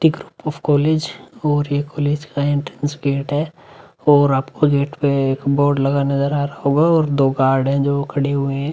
Group of college और ये college का एंट्रैंस गेट है और आपको गेट पे एक बोर्ड लगा नजर आ रहा होगा और दो गार्ड हैं जो खड़े हुए हैं।